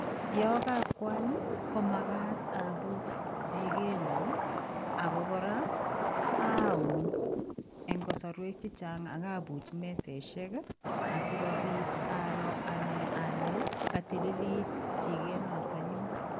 Yaan ka kwaany ii ko magaat abuuch chigeet nyuun ago kora amuun eng kasarweek chechaang akabuuch mesosiek asikobiit aroor ane ale ketililit chikeet notoon nyuun.